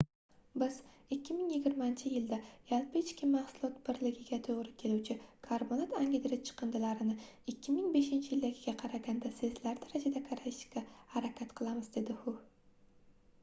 biz 2020-yilgacha yaim birligiga toʻgʻri keluvchi karbonat angidrid chiqindilarini 2005-yildagiga qaraganda sezilarli darajada kamaytirishga harakat qilamiz dedi hu